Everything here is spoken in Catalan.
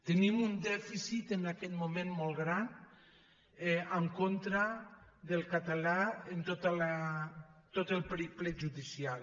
tenim un dèficit en aquest moment molt gran en con·tra del català en tot el periple judicial